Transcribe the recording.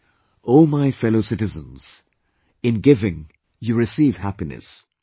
"O my Fellow Citizens In giving, you receive happiness,